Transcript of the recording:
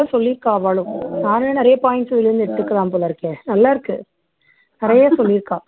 சொல்லியிருக்கா அவாளும் நானும் நிறைய points இதுல இருந்து எடுத்துக்கலாம் போல இருக்கே நல்லா இருக்கு நிறைய சொல்லியிருக்கா